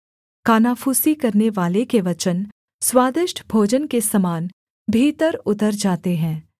कानाफूसी करनेवाले के वचन स्वादिष्ट भोजन के समान भीतर उतर जाते हैं